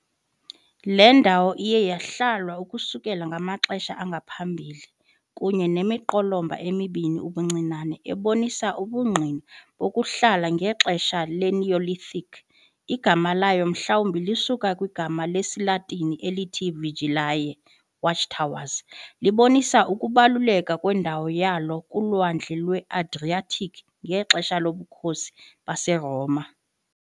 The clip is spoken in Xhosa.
Le ndawo iye yahlalwa ukususela kumaxesha angaphambili, kunye nemiqolomba emibini ubuncinane ebonisa ubungqina bokuhlala ngexesha le-Neolithic. Igama layo mhlawumbi lisuka kwigama lesiLatini elithi "vigilae", "watchtowers", libonisa ukubaluleka kwendawo yalo kuLwandle lwe-Adriatic ngexesha loBukhosi baseRoma.